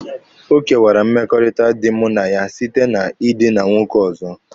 Ọ kewara mmekọrịta dị mụ na ya site na ịdịna nwoke ọzọ.